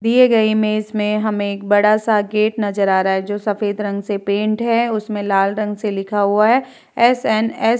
दिए गए इमेज में हमें एक बड़ा सा गेट नजर आ रहा है जो सफ़ेद रंग से पेंट है उसमें लाल रंग से लिखा हुआ है एस.एन.एस. --